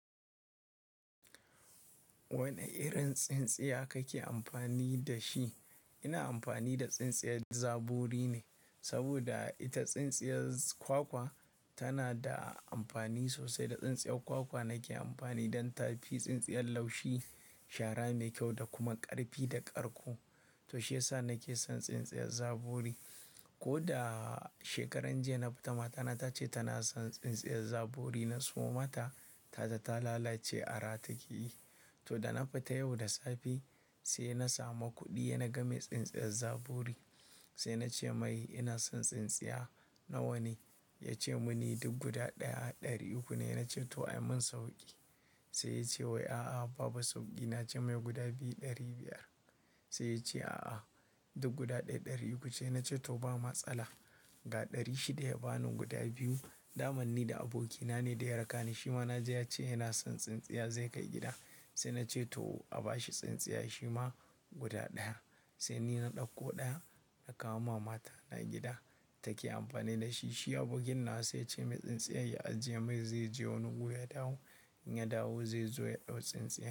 Wane irin tsintsiya kake amfani da shi? Ina amfani da tsintsiyar zaburi ne, saboda ita tsintsiyar kwakwa tana da amfani sosai. Da tsintsiyar kwakwa nake amfani don tafi, tsintsiyar laushi, shara mai kyau da kuma ƙarfi da ƙarko. To shiyasa nake son tsintsiyar zaburi. Ko da shekaran jiya na fita matana ta ce tana son tsintsiyar zaburi. Na siyo mata, ta tata lalace a ratake yi. To da na fita yau da safe sai na samu kuɗi, na game tsintsiyar zaburi. Sai na ce mai ina son tsintsiya nawa ne? Ya ce mun yi duk guda ɗaya ɗari uku ne. Na ce to a min sauƙi. Sai ya ce wai a'a babu sauƙi. Na ce mai guda biyu ɗari biyar. Sai ya ce a'a duk guda ɗaya ɗari uku ce. Na ce to ba matsala. Ga ɗari shida ya bani guda biyu. Dama ni da abokina ne da ya raka ni. Shi ma na ji ya ce yana son tsintsiya zai kai gida. Sai na ce to a bashi tsintsiya. Shi ma guda ɗaya. Sai ni na ɗauko ɗaya na kawo ma matana gida take amfani da shi. Shi abokina sai ya ce mai tsintsiyar ya ajiye mai zai je wani wuya dawo. In ya dawo zai zo ya ɗau tsintsiyar.